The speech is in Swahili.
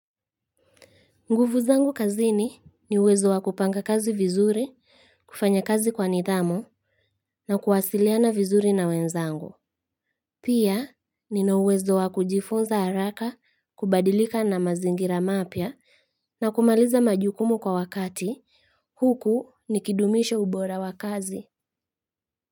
Nguvu zangu kazini ni uwezo wa kupanga kazi vizuri, kufanya kazi kwa nidhamu na kuwasiliana vizuri na wenzangu. Pia, nina uwezo wa kujifunza haraka, kubadilika na mazingira mapya na kumaliza majukumu kwa wakati, huku nikidumisha ubora wa kazi.